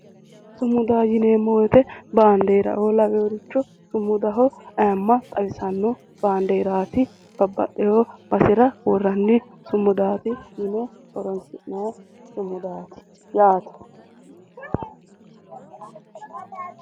sumudaho yineemmo woyite baandeeraoo laweworicho sumudaho ayimma xawisanno baandeeraati babbaxeewo basera worranni sumudaati yine worrayi sumudaati yaate.